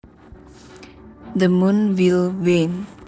The moon will wane